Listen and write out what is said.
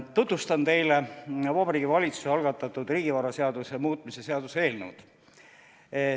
Tutvustan teile Vabariigi Valitsuse algatatud riigivaraseaduse muutmise seaduse eelnõu.